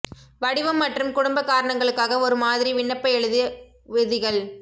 வடிவம் மற்றும் குடும்ப காரணங்களுக்காக ஒரு மாதிரி விண்ணப்ப எழுதி விதிகள்